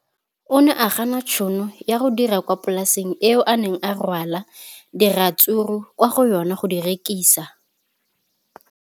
O ne a gana tšhono ya go dira kwa polaseng eo a neng rwala diratsuru kwa go yona go di rekisa.